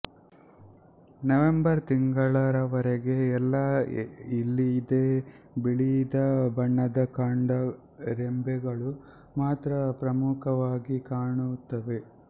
November May ತಿಂಗಳವರೆಗೆ ಎಲೆ ಇಲ್ಲದೆ ಬಿಳಿಯ ಬಣ್ಣದ ಕಾಂಡ ರೆಂಬೆಗಳು ಮಾತ್ರ ಪ್ರಮುಖವಾಗಿ ಕಾಣುತ್ತವೆ